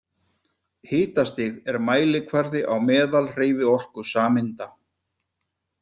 Hitastig er mælikvarði á meðalhreyfiorku sameinda.